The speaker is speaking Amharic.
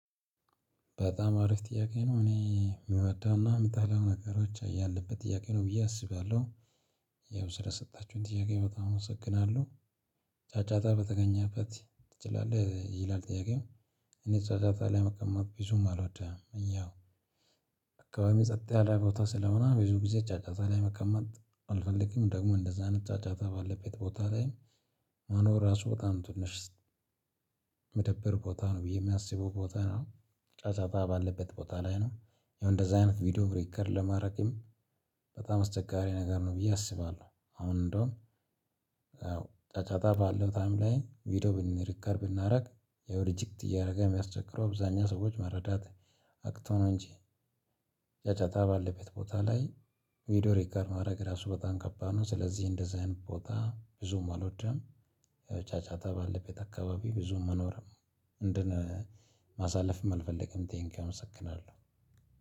በጣም አሪፍ ጥያቄ ነው እኔ የምወደውና የምጣለው ነገሮች እያለበት ጥያቄ ነው ብዬ አስባለሁ። ያው ስለሰጣችሁኝ ጥያቄ በጣም አመሰግናለሁ። ጫጫታ በተገኘበት ትችላለህ ይላል ጥያቄው። እኔ ጫጫታ ላይ መቀመጥ ቢዙም አልወድህም እያው አካባቢ ጸጥ ያለ ቦታ ስለሆነ ብዙ ጊዜ ጫጫታ ላይ መቀመጥ አልፈልግም። ደግሞ እንደዛ አይነት ጫጫታ ባለበት ቦታ ላይ መኖር ራሱ በጣም ትንሽ ሚደብር ቦታ ነው ብዬ የሚያስበው ቦታ ነው። ጫጫታ ባለበት ቦታ ላይ ነው። ያው እንደዚህ አይነት ቪዲዮ ሪከርድ ለማረግም በጣም አስቸጋሪ ነገር ነው ብዬ አስባለሁ። አሁን እንደውም ጫጫታ ባለው ታይም ላይ ቪዲዮ ብን ሪከርድ ብናደርግ ያው ሪጀክት እያደረገ የሚያስቸግረው አብዛኛ ሰዎች መረዳት አቅቶ ነው። እንጂ ያጫጣ ባለበት ቦታ ላይ ቪዲዮ ሪከርድ ማድረግ ራሱ በጣም ከባድ ነው። ስለዚህ እንደዚህ አይነት ቦታ ብዙም አልወደም። ያው ጫጫታ ባለበት አካባቢ ብዙም መኖርም እንትን ማሳለፍም አልፈልግም። ቴንኪው አመሰግናለሁ